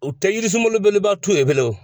U tɛ yirisunlabeleba tun bilen